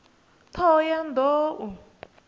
ṱhohoyanḓou